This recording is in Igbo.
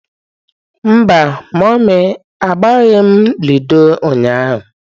Mba mummy, agbaghị m ludo ụnyahụ.